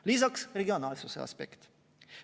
Lisaks on regionaalsuse aspekt.